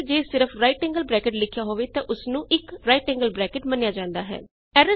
ਇਸ ਲਈ ਜੇ ਸਿਰਫ ਜੀਟੀ ਲਿਖਿਆ ਹੋਵੇ ਤੇ ਉਸਨੂੰ 1 ਜੀਟੀ ਮੰਨਿਆ ਜਾਂਦਾ ਹੈ